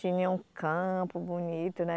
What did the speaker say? Tinha um campo bonito, né?